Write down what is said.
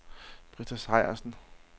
Britta Sejersen